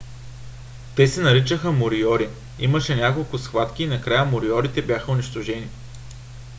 те се наричаха мориори. имаше няколко схватки и накрая мориорите бяха унищожени